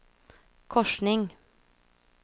korsning